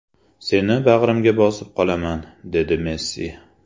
Seni bag‘rimga bosib qolaman”, dedi Messi.